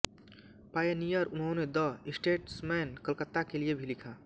Pioneer उन्होंने the Statesman Calcutta के लिए भी लिखा